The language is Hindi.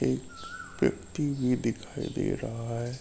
एक व्यक्ति भी दिखाई दे रहा है।